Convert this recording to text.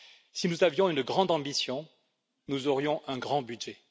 Si nous avions une grande ambition, nous aurions un grand budget.